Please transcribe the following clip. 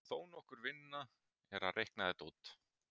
Þó nokkur vinna er að reikna þetta út.